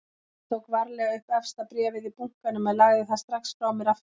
Ég tók varlega upp efsta bréfið í bunkanum en lagði það strax frá mér aftur.